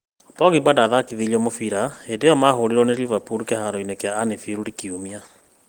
Pogba ndathakithirio mũbira hĩndĩ ĩyo mahũrirũo nĩ Liverpool kĩharo-inĩ kĩa anfield kiumia